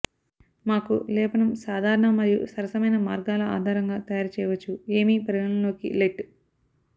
మాకు లేపనం సాధారణ మరియు సరసమైన మార్గాల ఆధారంగా తయారు చేయవచ్చు ఏమి పరిగణలోకి లెట్